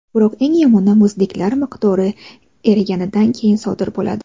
Biroq, eng yomoni, muzliklar miqdori eriganidan keyin sodir bo‘ladi.